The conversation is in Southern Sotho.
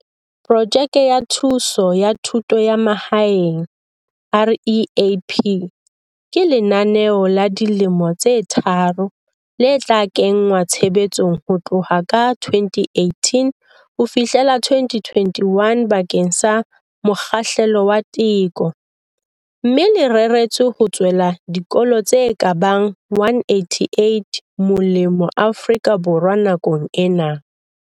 Projeke ya Thuso ya Thuto ya Mahaeng, REAP, ke lenaneo la dilemo tse tharo le tla kenngwa tshebetsong ho tloha ka 2018 ho fihlela 2021 bakeng sa mokgahlelo wa teko, mme le reretswe ho tswela dikolo tse ka bang 188 molemo Afrika Borwa nakong ena.